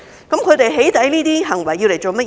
他們"起底"的行為是為了甚麼？